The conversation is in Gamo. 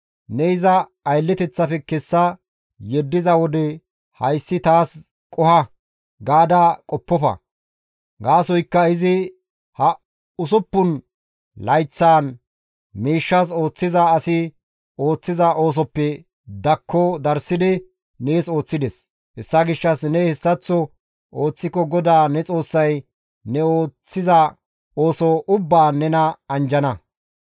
Ne iza aylleteththafe kessa yeddiza wode, «Hayssi taas qoho» gaada qoppofa; gaasoykka izi ha usuppun layththaan miishshas ooththiza asi ooththiza oosoppe dakko darssidi nees ooththides; hessa gishshas ne hessaththo ooththiko GODAA ne Xoossay ne ooththiza ooso ubbaan nena anjjana.